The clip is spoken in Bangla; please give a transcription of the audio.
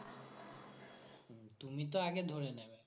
তুমি তো আগে ধরে নেবে